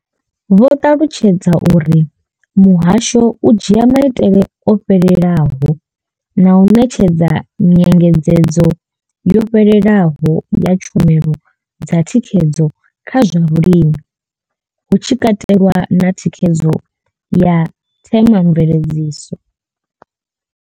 Vho ṱalutshedza uri muhasho u dzhia maitele o fhelelaho na u ṋetshedza nyengedzedzo yo fhelelaho ya tshumelo dza thikhedzo kha zwa vhulimi hu tshi katelwa na thikhedzo ya themamveledziso.